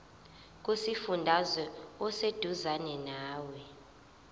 kusifundazwe oseduzane nawe